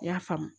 I y'a faamu